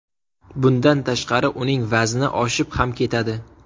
Bundan tashqari uning vazni oshib ham ketadi.